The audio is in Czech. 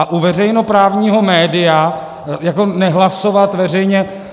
A u veřejnoprávního média jako nehlasovat veřejně...